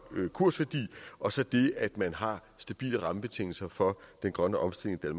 kursværdi og så det at man har stabile rammebetingelser for den grønne omstilling i